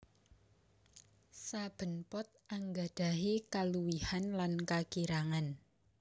Saben pot anggadhahi kaluwihan lan kakirangan